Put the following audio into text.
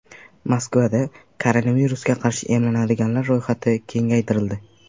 Moskvada koronavirusga qarshi emlanadiganlar ro‘yxati kengaytirildi.